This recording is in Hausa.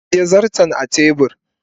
ajiye zarton a tebur